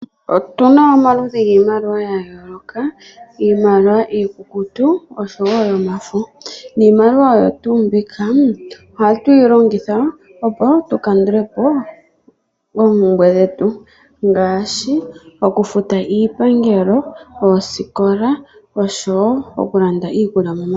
Otuna omaludhi giimaliwa ya yoolokathana ngaashi mbyoka iikukutu, osho wo yomafo. Iimaliwa ohayi longithwa oku kutha po oompumbwe dhetu, ngaashi okufuta oshipangelo, omanongelelo, osho wo okulanda iikulya momagumbo.